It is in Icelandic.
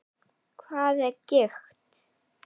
Hvað er gigt?